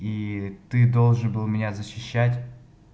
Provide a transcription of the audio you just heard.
и ты должен был меня защищать